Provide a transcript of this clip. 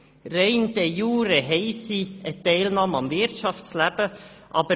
Damit nehmen sie de iure am Wirtschaftsleben teil.